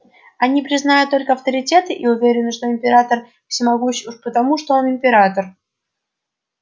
они признают только авторитеты и уверены что император всемогущ уж потому что он император